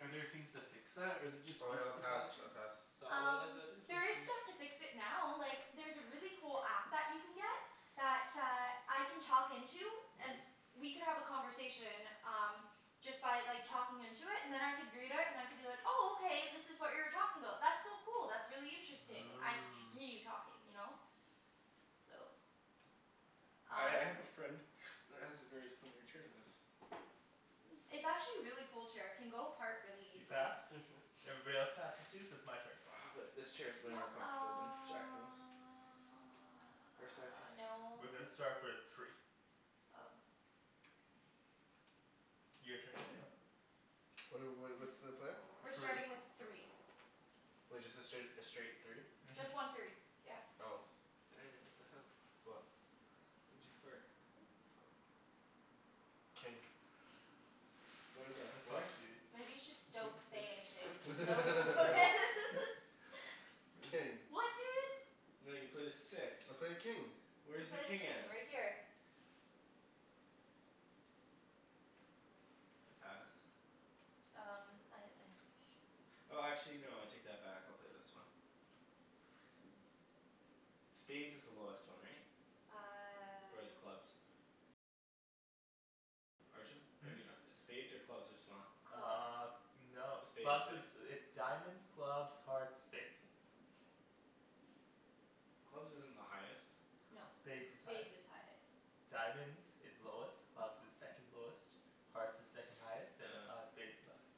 are there things to fix that? Or is it just Oh speech yeah, I'll pass, pathology? I pass. Um, there is stuff to fix it now, like there's a really cool app that you can get that uh, I can talk into and Mhm. we could have a conversation, um just by like talking into it, and then I could read it and I could be like, oh okay this is what you were talking about. That's so cool, that's really interesting. I could Oh. continue talking, you know? So I Um I have a friend that has a very similar chair to this. Hmm. It's actually a really cool chair, it can go apart really You easily. passed? Mhm. Everybody else passes too? So it's my turn. Uh but this chair's way No, more comfortable than Jacklyn's. uh no. We're gonna start with three. Oh. Your turn Daniel. What are wh- what's the play? We're Three. starting with three. Wait, just the straight, a straight three? Mhm. Just one three, yeah. Oh. Daniel, what the hell? What? Why'd you fart? King. What is that, a The fuck, four? dude. Maybe you should, don't say anything, just no one will notice. King. What dude? No, you played a six. I played king. You Where's the played a king at? king, right here. Pass. Um I, I'm pretty sure. Oh actually no, I take that back, I'll play this one. Spades is the lowest one, right? Or is Uh clubs? Hmm? Maybe not. Spades or clubs, what's smaller? Uh. Clubs. No. Spades, Clubs is, right? it's diamonds, clubs, hearts, spades. Clubs isn't the highest. No. Spades is highest. Spades is highest. Diamonds is lowest, clubs is second lowest. Hearts is second highest, and uh Oh. spades is highest.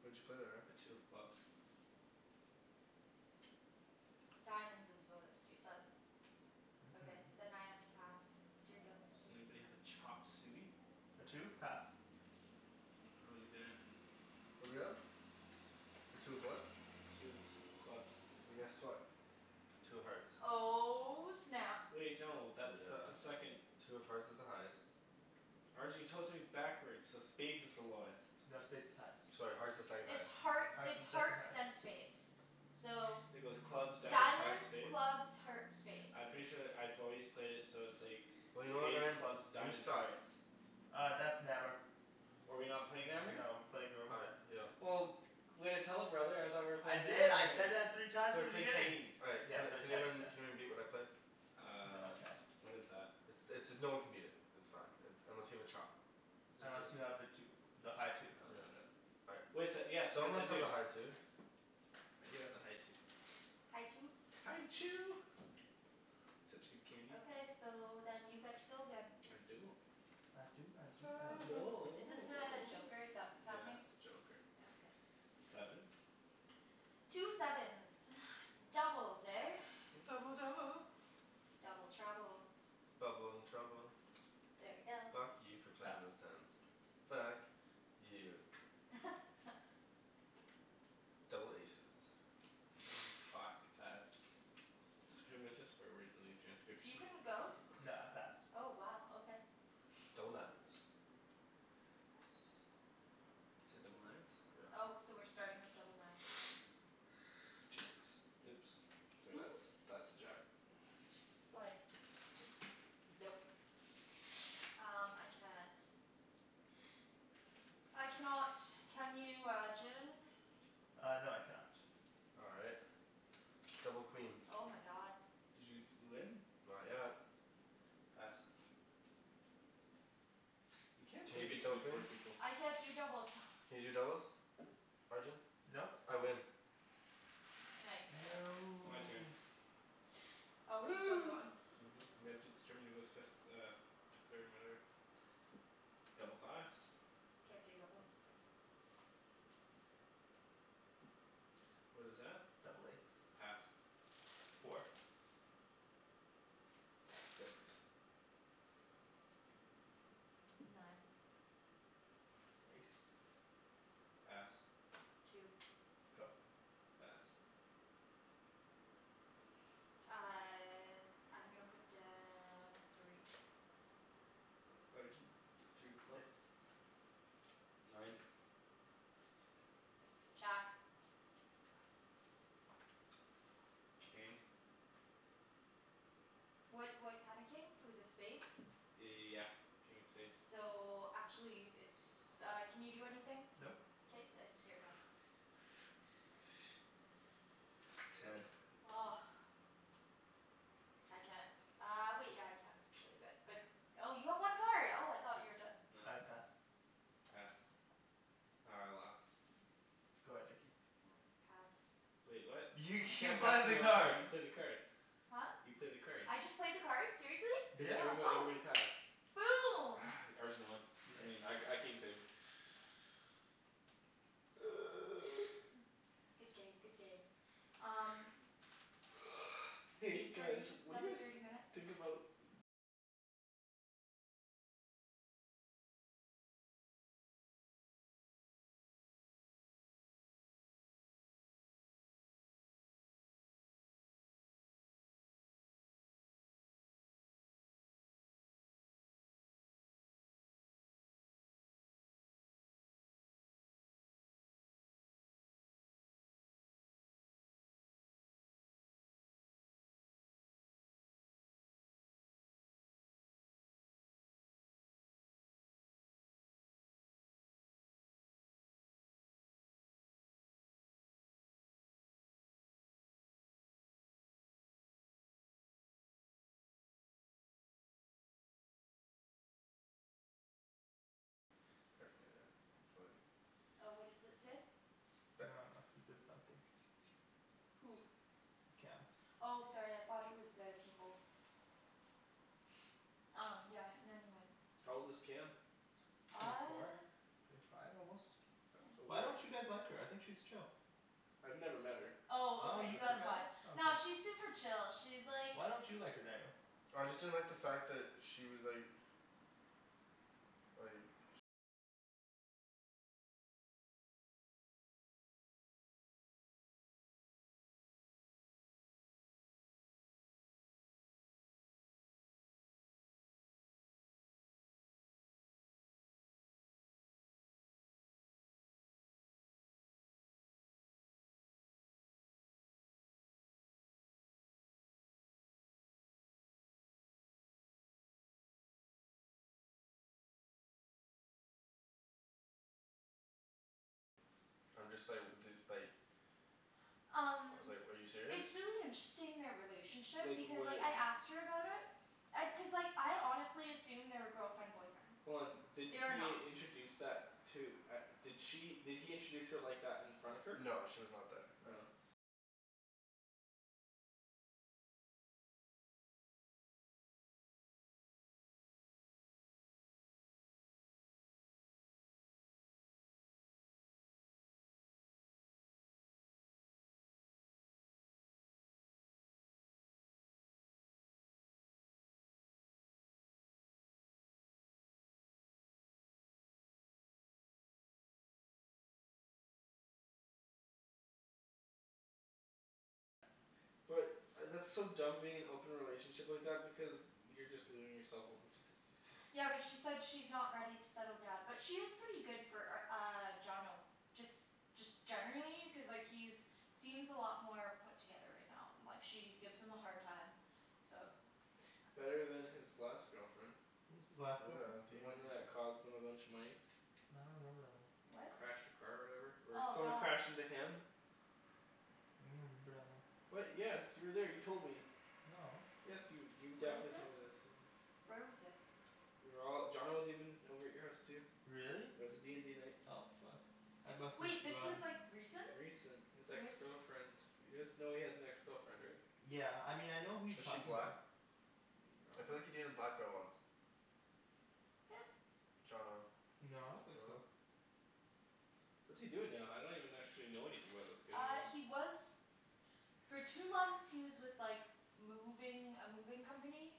What'd you play there, Ryan? A two of clubs. Diamonds is lowest, you said. Okay, Mhm. then I have to pass. It's your go. Does anybody have a chop suey? A two? Pass. How 'bout you, Daniel? What are we at? A two of what? Two of s- clubs. Well, guess what? Two of hearts. Oh snap. Wait no, that's that's a Yeah. second Two of hearts is the highest. Arjan you told it to me backwards, so spades is the lowest. No, spades is highest. Sorry, hearts is second It's highest. heart, Hearts it's is second hearts highest. then spades. So It goes clubs, diamonds, hearts, Diamonds, spades? clubs, hearts, spades. I'm pretty sure that I've always played it so it's like Well, you know what spades, Ryan? clubs, You diamonds, suck. hearts. Uh, that's Nammer. Oh are we not playing Nammer? No, we're playing Oh normal. right, yeah. Well way to tell a brother, I thought we were I playing did, Nammer I here. said that three times So in we're the playing beginning. Chinese. All right Yeah. can We're playing can Chinese, yeah. anyone can anyone beat what I played? No Um I can't. What is that? I- it's, no one can beat it. It's fine, it, unless you have a chop. Unless you have the two. The high two. Oh no I don't. All right. Wait so, yes Someone yes I must have a do. high two. I do have the high two. High two? High Chew. Such good candy. Okay, so then you get to go again. I do. I do I do I I do. do. Is this a joker, is that what's Yeah, happening? that's a joker. Yeah, okay. Sevens? Two sevens. Doubles, eh? Double double. Double trouble. Bubble and trouble. There we go. Fuck you for Pass. playing those tens. Fuck. You. Double aces. Fuck, pass. It's gonna be a bunch of swear words in these You transcriptions. couldn't go? No, I passed. Oh wow, okay. Double nines. Yes. You said double nines? Yep. Oh, so we're starting with double nines, okay. Jacks. Oops. Sorry that's, that's a jack. Just like Just, nope. Um, I can't. I cannot. Can you Arjan? Uh no, I can not. All right. Double queens. Oh my god. Did you d- win? Not yet. Pass. You can't Can play you beat Big Two double with four queens? people. I can't do doubles. Can you do doubles? Arjan? Nope. I win. Nice. My turn. No. Oh, we're still Woo! going? Mhm. We have to determine who goes fifth, uh f- third and whatever. Double fives. Can't do doubles. What is that? Double eights. Pass. Four. Six. Nine. Ace. Pass. Two. Go. Pass. Uh I'm gonna put down a three. Arjan? Three of clubs? Six. Nine. Jack. Pass. King. What what kind of king? It was a spade? Yeah. King of spade. So, actually it's uh, can you do anything? Nope. K then, it's your go. Ten. I can't. Uh wait, yeah I can actually, but, but Oh you have one card. Oh I thought you were done. No. I pass. Pass. Oh, I lost. Go ahead Nikki. Hmm, pass. Wait, what? You You you can't pass played the me a new card. card, you played the card. Huh? You played the card. I just played the card? Seriously? Cuz Yeah. everybo- Oh. everybody passed. Boom! Arjan won. Yeah. I mean I, I came third. Good game, good game. Um So Hey eight guys, thirty, what do you another thirty guys minutes. think about paraphernalia. It's like Oh, what does it say? It's I bad. dunno. He said something. Who? Cam. Oh sorry, I thought it was uh people. Um yeah. Not even. How old is Cam? Twenty four? Uh Twenty five almost? Why Where don't you guys like her? I think she's chill. I've never met her. Oh Oh okay, you've so never that's met why. her? Oh okay. Nah, she's super chill, she's like Why don't you like her, Daniel? I just didn't like the fact that she was like like I'm just like, dude, like I Um was like, "Are you serious?" It's really interesting, their relationship, Like because like when I asked her about it and, cuz like I honestly assumed they were girlfriend boyfriend. Hold on, did They are he not. introduce that, to, at, did she, did he introduce her like that in front of her? No she was not there, no. Oh. But, I that's so dumb being in an open relationship like that, because you're just leaving yourself open to diseases. Yeah, but she said she's not ready to settle down. But she is pretty good for r- uh, Johnno. Just, just generally, cuz like he's seems a lot more put together right now. And like she gives him a hard time. So Better than his last girlfriend. What was his last girlfriend? Did The he even one that cost him a bunch of money. I don't remember that one. What? Crashed her car or whatever? Or Oh someone god. crashed into him. remember that one. What? Yes, you were there, you told me. No. Yes you, you Where was definitely this? told me this, this is Where was this? We were all, Johnno was even over at your house too. Really? It was a d and d night. Oh fuck. I must've Wait, this was forgotten. like, recent? Recent? This ex girlfriend You guys know he has an ex girlfriend, right? Yeah. I mean, I know who you Is she talking black? 'bout. Mm, I I feel like he dunno. dated a black girl once. Yeah. Johnno. No, I don't think so. What's he doing now? I don't even actually know anything about this kid Uh, anymore. he was for two months, he was with like moving, a moving company.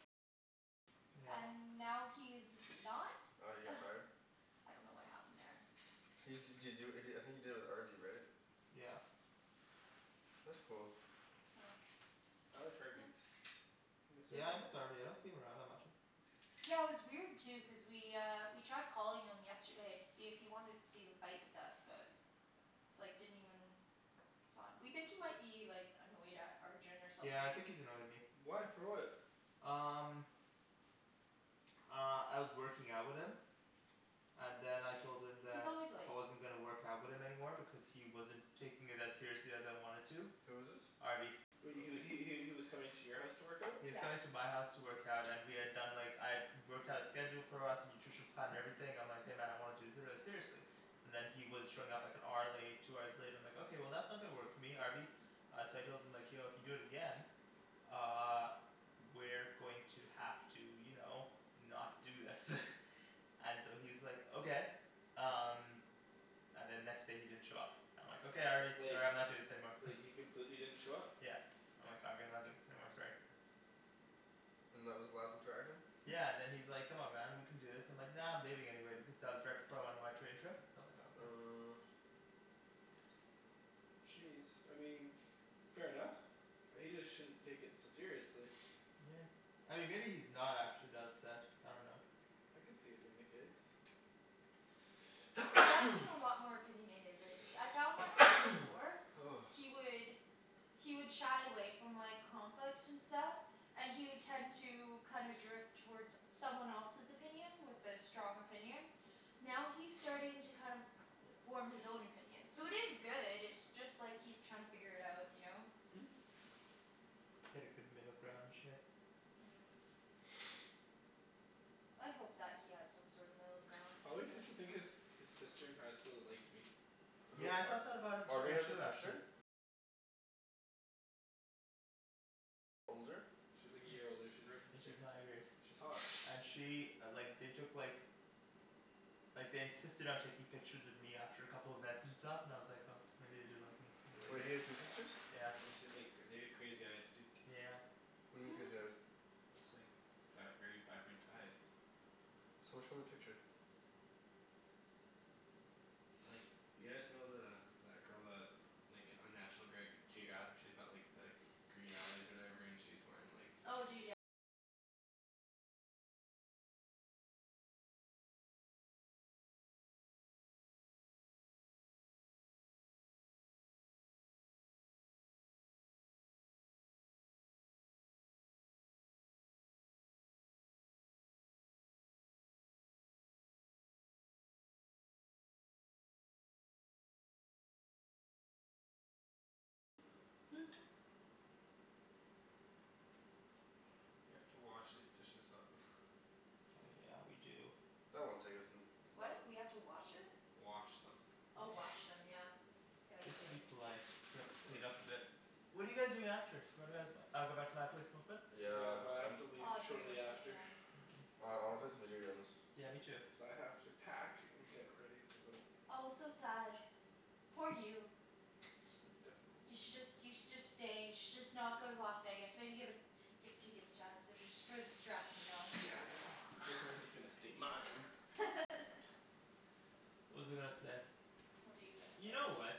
Yeah. And now he's not. Oh, he got fired? I dunno what happened there. He d- did he do it, I think he did it with Harvey right? Yeah. That's cool. I like Harvey. I miss Yeah I miss Harvey. Harvey, I don't see him around that much. Yeah, it was weird too, cuz we uh, we tried calling him yesterday to see if he wanted to see the fight with us, but it's like, didn't even respond. We think he might be like, annoyed at Arjan or something. Yeah I think he's annoyed at me. Why? For what? Um Uh, I was working out with him. And then I told him He's that always late. I wasn't gonna work out with him anymore because he wasn't taking it as seriously as I wanted to. Who is this? Harvey. He was he he he was coming to your house to work out? He was Yeah. coming to my house to work out and we had done like, I had worked out a schedule for us, nutrition plan, and everything, I'm like "Hey man, I want to do seriously." And then he was showing up like an hour late, two hours late, and I'm like "Okay, that's not gonna work for me, Harvey." Uh so I told him like "Yo, if you do it again uh we're going to have to, you know, not do this. And so he's like "Okay." Um And then next day he didn't show up. I'm like "Okay Harvey, Like sorry I'm not doing this anymore." He completely didn't show up? Yeah. I'm like "Harvey, I'm not doing this anymore, sorry." And that was the last interaction? Yeah and then he's like "Come on man, we can do this." And I'm like "Nah, I'm leaving anyway," because that was right before I went on my train trip. So I'm like "Oh okay." Uh Jeez, I mean fair enough. He just shouldn't take it so seriously. Yeah. I mean maybe he's not actually that upset, I dunno. I could see it being the case. He does seem a lot more opinionated lately. I found like way before he would he would shy away from like, conflict and stuff. And he would tend to kind of drift toward someone else's opinion, with a strong opinion. Now he's starting to kind of form his own opinion. So it is good, it's just like he's trying to figure it out, you know? Hit a good middle ground and shit. Yeah. I hope that he has some sort of middle ground, I cuz always like, used to think yeah his, his sister in high school liked me. Who, Yeah I thought Ar- that about him Harvey t- has a too sister? actually. She's like a year older. She's Arjan's She's grade. my grade. She's hot. And she like, they took like like they insisted on taking pictures of me after a couple events and stuff, and I was like, oh maybe they do like me Wait, he had two sisters? Yeah. And then she had like, they had crazy eyes too. Yeah. What do you mean crazy eyes? They're just like vi- very vibrant eyes. Someone show me a picture. Like, you guys know the, that girl that like, on National Greg- Geographic she's got like the green eyes or whatever? And she's wearing like We have to wash these dishes up. Oh yeah, we do. That won't take us n- no- What? We have to watch it? Wash them. Oh wash them, yeah. Yeah, we Just do. to be polite. We have Of to clean course. up a bit. What are you guys doing after? What are guys, uh go back to my place, smoke a bit? Yeah, Yeah, but I have I'm to leave Oh dude, shortly I'm so after. done. Mm. Oh I wanna play some video games. Yeah, me too. Cuz I have to pack and get ready to go. Oh so sad. Poor you. It's gonna be difficult. You should just, you should just stay, you should just not go to Las Vegas, maybe give it give the tickets to us, just for the stress, you know, Yeah, cuz no. stay mine. What was I gonna say? What are you gonna You know say? what.